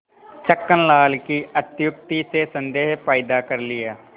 छक्कन लाल की अत्युक्ति से संदेह पैदा कर लिया